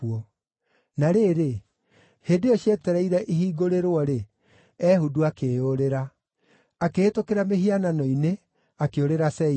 Na rĩrĩ, hĩndĩ ĩyo cietereire ihingũrĩrwo-rĩ, Ehudu akĩĩyũrĩra. Akĩhĩtũkĩra mĩhianano-inĩ akĩũrĩra Seira.